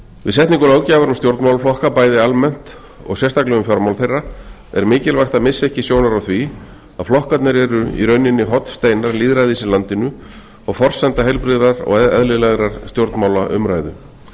við setningu löggjafar um stjórnmálaflokka bæði almennt og sérstaklega um fjármál þeirra er mikilvægt að missa ekki sjónar á því að flokkarnir eru í rauninni hornsteinar lýðræðis í landinu og forsenda heilbrigðrar og eðlilegrar stjórnmálaumræðu